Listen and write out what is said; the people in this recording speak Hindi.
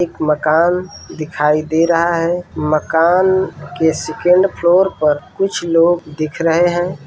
एक मकान दिखाई दे रहा है मकान के सेकंड फ्लोर पर कुछ लोग दिख रहे है।